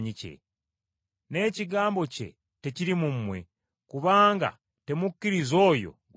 N’ekigambo kye tekiri mu mmwe, kubanga temukkiriza oyo gwe yatuma.